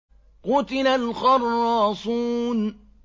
قُتِلَ الْخَرَّاصُونَ